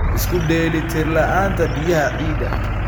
Isku dheelitir la'aanta biyaha ciidda.